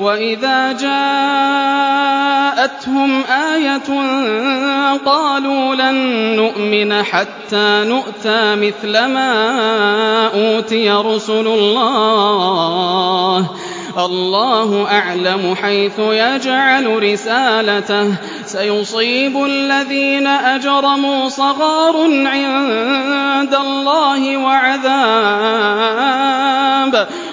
وَإِذَا جَاءَتْهُمْ آيَةٌ قَالُوا لَن نُّؤْمِنَ حَتَّىٰ نُؤْتَىٰ مِثْلَ مَا أُوتِيَ رُسُلُ اللَّهِ ۘ اللَّهُ أَعْلَمُ حَيْثُ يَجْعَلُ رِسَالَتَهُ ۗ سَيُصِيبُ الَّذِينَ أَجْرَمُوا صَغَارٌ عِندَ اللَّهِ